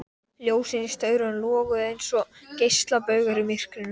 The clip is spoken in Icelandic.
Ljósin í staurunum loguðu einsog geislabaugar í myrkrinu.